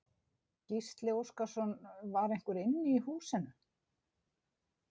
Gísli Óskarsson: Var einhver inni í húsinu?